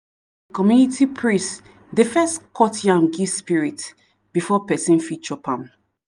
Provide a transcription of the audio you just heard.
the community priest dey first cut yam give spirit before person fit chop am.